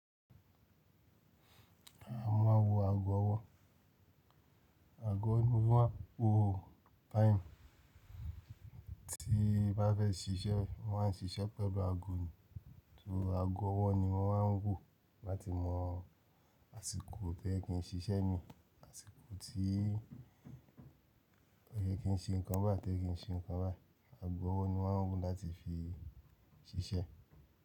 Mọ̀ máà ń wo ago ọwọ́. Ago ní yìí mọ̀ máà ń fi wo time, tí a bá fẹ́ ṣiṣẹ́ mọ́ má ṣiṣẹ́ pẹ̀lú ago ni. Tòó ago ọwọ́ ni wọ́n máa ń wò láti mọ àsìkò tẹ́ẹ̀ kí n ṣiṣẹ́ ni, àsìkò tí ó yẹ kí n ṣe nǹkan bá tẹ́ẹ̀ kí n ṣe nǹkan bá. Ago ọwọ́ ni wọ́n ń wò láti fi ṣiṣẹ́.